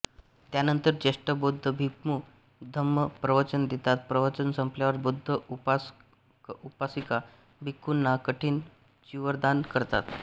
त्यांनंतर ज्येष्ठ बौद्ध भिक्खू धम्म प्रवचन देतात प्रवचन संपल्यावर बौद्ध उपासकउपासिका भिक्खूंना कठीण चिवरदान करतात